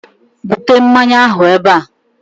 bute mmanya ahụ ebe a!